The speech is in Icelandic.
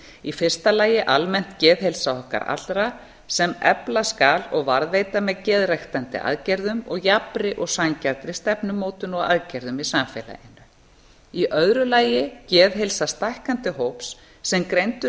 í fyrsta lagi almennt geðheilsa okkar allra sem efla skal og varðveita með geðræktandi aðgerðum og jafnri og sanngjarnri stefnumótun og aðgerðum í samfélaginu í öðru lagi geðheilsa stækkandi hóps sem greindur